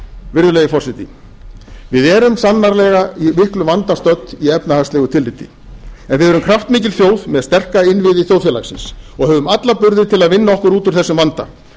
virðulegi forseti við erum sannarlega í miklum vanda stödd í efnahagslegu tilliti en við erum kraftmikil þjóð með sterka innviði þjóðfélagsins og höfum alla burði til að vinna okkur út úr þessum vanda